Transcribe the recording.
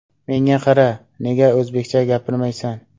Menga qara, nega o‘zbekcha gapirmaysan?